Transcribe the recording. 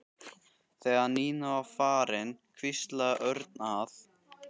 Þegar Nína var farin hvíslaði Örn að